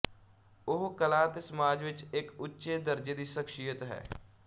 ਉਹ ਕਲਾ ਅਤੇ ਸਮਾਜ ਵਿਚ ਇੱਕ ਉੱਚ ਦਰਜੇ ਦੀ ਸ਼ਖਸੀਅਤ ਹੈ